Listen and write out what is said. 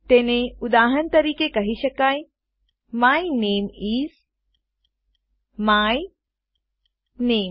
તેને ઉદાહરણ તરીકે કહી શકાય માય નામે ઇસ માય નામે